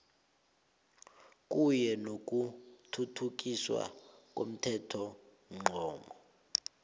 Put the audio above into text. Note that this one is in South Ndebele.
kunye nokuthuthukiswa komthethomgomo